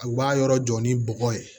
U b'a yɔrɔ jɔ ni bɔgɔ ye